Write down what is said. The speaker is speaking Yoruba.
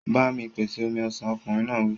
Ba mi pèsè omi ọsàn! Ọkùnrin náà wí.